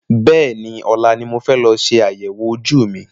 Bẹ́ẹ̀ni, ọ̀la ni mo fẹ́ lọ ṣe àyẹ̀wò ojú mi.